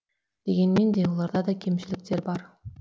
дегенмен де оларда да кемшіліктер бар